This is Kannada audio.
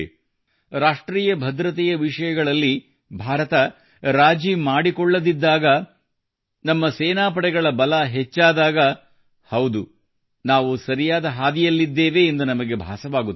ರಾಷ್ಟ್ರೀಯ ಭದ್ರತೆಯ ವಿಷಯಗಳಲ್ಲಿ ಭಾರತ ರಾಜಿ ಮಾಡಿಕೊಳ್ಳದಿದ್ದಾಗ ನಮ್ಮ ಸೇನಾಪಡೆಗಳ ಬಲ ಹೆಚ್ಚಾದಾಗ ಹೌದು ನಾವು ಸರಿಯಾದ ಹಾದಿಯಲ್ಲಿದ್ದೇವೆ ಎಂದು ನಮಗೆ ಭಾಸವಾಗುತ್ತದೆ